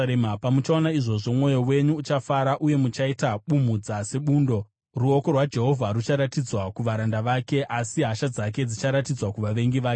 Pamuchaona izvozvo, mwoyo wenyu uchafara, uye muchaita bumhudza sebundo; ruoko rwaJehovha rucharatidzwa kuvaranda vake, asi hasha dzake dzicharatidzwa kuvavengi vake.